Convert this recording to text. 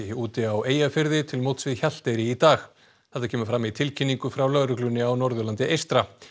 úti á Eyjafirði til móts við Hjalteyri í dag þetta kemur fram í tilkynningu frá lögreglunni á Norðurlandi eystra